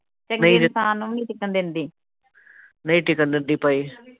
ਨਹੀ ਟਿਕਣ ਦਿੰਦੀ ਭਾਈ।